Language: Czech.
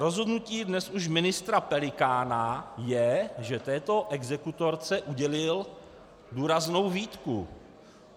Rozhodnutí dnes už ministra Pelikána je, že této exekutorce udělil důraznou výtku.